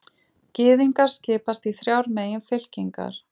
Gyðingar skipast í þrjár meginfylkingar.